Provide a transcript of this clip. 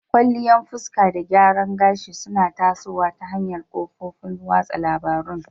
Kwalliya fuska da gyaran gashi suna tasowa ta hanyar kafofin watsa labarun.